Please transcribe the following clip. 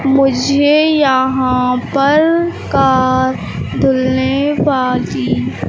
मुझे यहां पर का तुलने बाजी--